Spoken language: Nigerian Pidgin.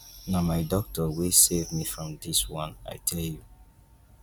na my doctor wey save me from dis one i tell you.